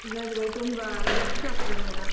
ಇಲ್ಲದ್ರೆ ತುಂಬಾ ಕರ್ಚಾಗ್ತದಲ.